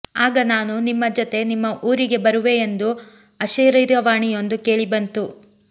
ಆಗ ನಾನು ನಿಮ್ಮ ಜೊತೆ ನಿಮ್ಮ ಊರಿಗೆ ಬರುವೆ ಎಂದು ಅಶರೀರವಾಣಿಯೊಂದು ಕೇಳಿಬಂತು